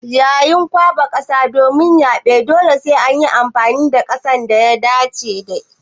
Yayin kwaɓa kasa domin yaɓe dole sai an yi amfani da kasar da ta dace.